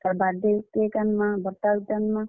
ତାର୍ birthday cake ଆନ୍ ମା, ବଡ୍ ଟା ଗୁଟେ ଆନ୍ ମା।